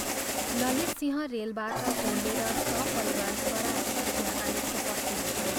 ललितसिंह रेलबाट ओह्रलेर सपरिवार सरासर त्यहाँ आई उपस्थित भए।